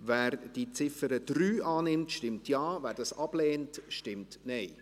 Wer die Ziffer 3 annimmt, stimmt Ja, wer diese ablehnt, stimmt Nein.